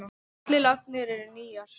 Allar lagnir eru nýjar.